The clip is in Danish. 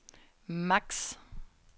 max